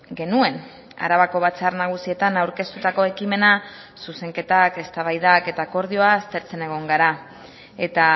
genuen arabako batzar nagusietan aurkeztutako ekimena zuzenketak eztabaidak eta akordioa aztertzen egon gara eta